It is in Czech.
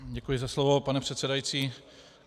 Děkuji za slovo, pane předsedající.